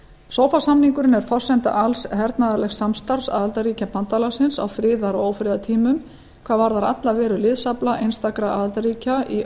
sofa samningurinn er forsenda alls hernaðarlegs samstarfs aðildarríkja bandalagsins á friðar og ófriðartímum hvað varðar alla veru liðsafla einstakra aðildarríkja í